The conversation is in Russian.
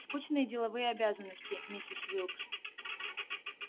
скучные деловые обязанности миссис уилкс